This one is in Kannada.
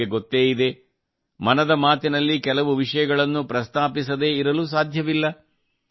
ನಿಮಗೆ ಗೊತ್ತೇ ಇದೆ ಮನದ ಮಾತಿನಲ್ಲಿ ಕೆಲವು ವಿಷಯಗಳನ್ನು ಪ್ರಸ್ತಾಪಿಸದೇ ಇರಲು ಸಾಧ್ಯವಿಲ್ಲ